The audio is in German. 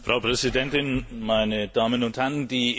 Frau Präsidentin, meine Damen und Herren!